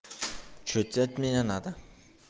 что тебе от меня надо